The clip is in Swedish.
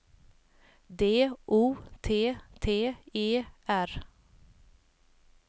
D O T T E R